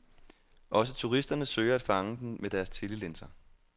Også turisterne søger at fange den med deres telelinser.